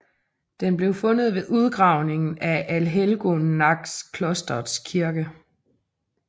Den blev fundet ved udgravningen af Allhelgonaklostrets kirke